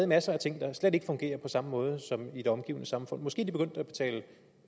masser af ting der slet ikke fungerer på samme måde som i det omgivende samfund måske